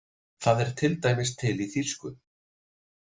Það er til dæmis til í þýsku.